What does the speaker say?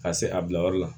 Ka se a bilayɔrɔ la